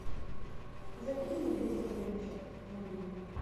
закинь мне двести рублей на счет мобильный